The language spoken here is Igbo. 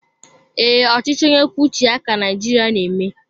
Ee, ọchịchị onye kwuo uche ya ka Naijiria na eme